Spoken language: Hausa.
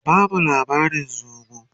ka bamu labarin zomo!